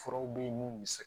Furaw bɛ ye mun bɛ se